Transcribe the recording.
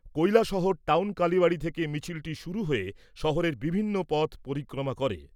Kailashahar town Kalibari থেকে মিছিলটি শুরু হয়ে শহরের বিভিন্ন পথ পরিক্রমা করে।